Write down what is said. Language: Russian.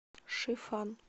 шифан